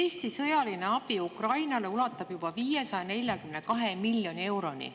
Eesti sõjaline abi Ukrainale ulatub juba 542 miljoni euroni.